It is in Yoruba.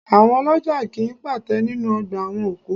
Àwọn ọlọ́jà kì í pàtẹ nínú ọgbà àwọn òkú